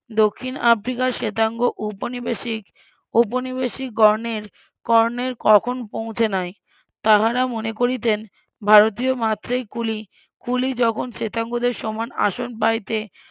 দক্ষিন আফ্রিকার শ্বেতাঙ্গ উপনিবেশিক উপনিবেশিকগণের কর্ণের কখন পৌঁছে নাই তাহারা মনে করিতেন ভারতীয় মাত্রেই কুলি কুলি যখন শ্বেতাঙ্গদের সমান আসন পাইতে